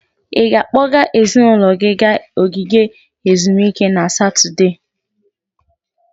Ị ga-akpọga ezinụlọ gị gaa ogige ezumike na Satọde?